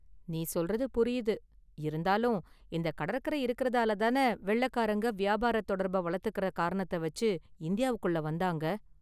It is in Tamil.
நீ சொல்றது புரியுது! இருந்தாலும் இந்த கடற்கரை இருக்கிறதால தானே வெள்ளைக்காரங்க வியாபாரத் தொடர்பை வளர்த்துக்கிற காரணத்த வச்சு இந்தியாவுக்குள்ள வந்தாங்க​.